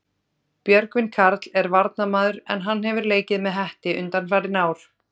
Björgvin Karl er varnarmaður en hann hefur leikið með Hetti undanfarin ár.